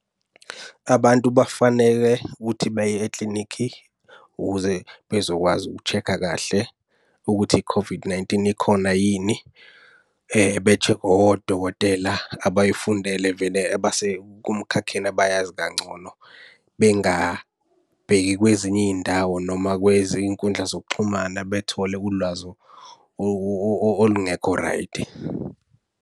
Abantu bafaneke ukuthi beye eklinikhi ukuze bezokwazi uku-check-a kahle ukuthi i-COVID-19, ikhona yini. Be-check-we odokotela abayifundele vele abasekumkhakheni abayazi kangcono. Bengabheki kwezinye iy'ndawo noma kwezinye iy'nkundla zokuxhumana bethole ulwazi olungekho raydi.